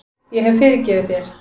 Ég hef fyrirgefið þér.